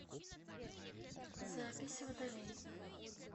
запись водолей